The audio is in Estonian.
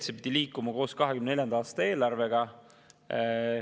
See pidi liikuma koos 2024. aasta eelarvega.